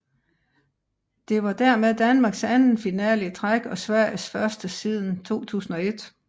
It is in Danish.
Det var dermed Danmarks anden finale i træk og Sveriges første siden 2001